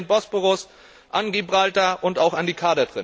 Ich denke an den Bosporus, an Gibraltar und auch an die